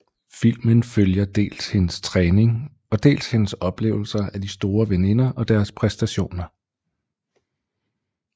Filmen følger dels hendes træning og dels hendes oplevelser af de store veninder og deres præstationer